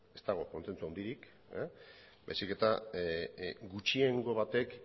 ez dago kontsentsu handirik baizik eta gutxiengo batek